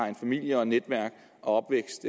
familie og netværk og